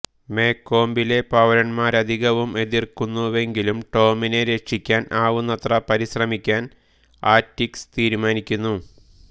മേകോംബിലെ പൌരന്മാരധികവും എതിർക്കുന്നുവെങ്കിലും ടോമിനെ രക്ഷിക്കാൻ ആവുന്നത്ര പരിശ്രമിക്കാൻ ആറ്റികസ് തീരുമാനിക്കുന്നു